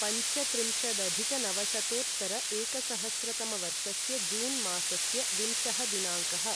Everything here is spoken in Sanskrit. पञ्चत्रिंशदधिकनवशतोत्तर एकसहस्रतमवर्षस्य जून् मासस्य विंशः दिनाङ्कः